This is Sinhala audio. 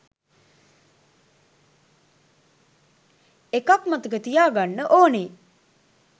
එකක් මතක තියාගන්න ඕනේ